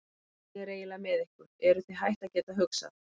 Hvernig er eiginlega með ykkur, eruð þið hætt að geta hugsað?